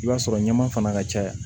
I b'a sɔrɔ ɲama fana ka caya